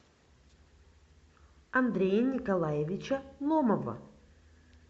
андрея николаевича ломова